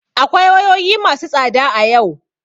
Akwai wayoyi masu tsada a yau.